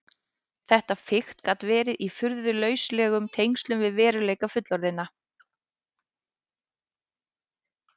Þetta fikt gat verið í furðu lauslegum tengslum við veruleika fullorðinna.